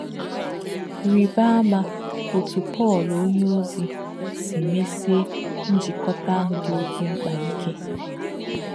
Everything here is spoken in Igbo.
Rì̄bá̄ àmà̄ ọ̀tú̄ Pọ̄l ọ̀nyé̄ọ̀zì̄ sī̄ mè̄sị̀è̄ njíkòtà̄ āhū̄ dì̄ ọ̀kè̄ m̀kpá̄ íkè̄.